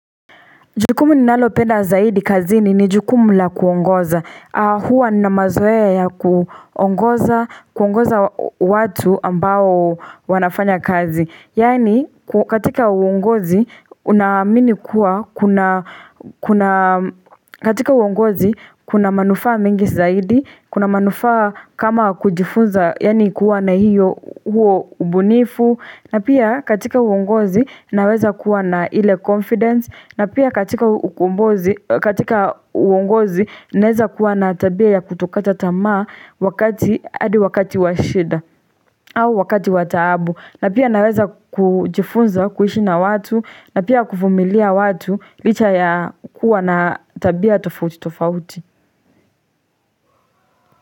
Jukumu ninalopenda zaidi kazini ni jukumu la kuongoza. Huwa nina mazoea ya kuongoza, kuongoza watu ambao wanafanya kazi. Yaani katika uongozi, unaamini kuwa, katika uongozi kuna manufaa mingi zaidi, kuna manufaa kama kujifunza, yani kuwa na hiyo huo ubunifu. Na pia katika uongozi naweza kuwa na ile confidence na pia katika uongozi naweza kuwa na tabia ya kutokata tamaa wakati hadi wakati wa shida au wakati wataabu na pia naweza kujifunza kuiishi na watu na pia kuvumilia watu licha ya kuwa na tabia tofauti tofauti.